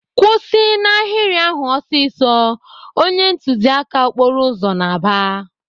"Kwụsị n'ahịrị ahụ ọsịsọ!" Onye ntụziaka okporo ụzọ na-aba.